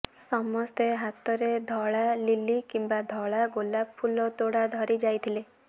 ସମସ୍ତେ ହାତରେ ଧଳା ଲିଲି କିମ୍ବା ଧଳା ଗୋଲାପ ଫୁଲ ତୋଡ଼ା ଧରି ଯାଇଥିଲେ